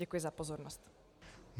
Děkuji za pozornost.